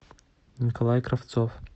николай кравцов